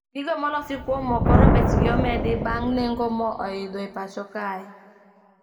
Gigo molosi kuom moo koro bech gi omedi bang` nengo moo oidho e pacho kae